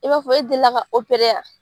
I b'a fɔ e deli la ka o yan?